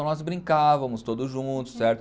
Então nós brincavamos todos juntos, certo?